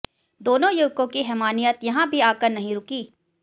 दोनों युवकों की हैवानियत यहां भी आकर नहीं रुकी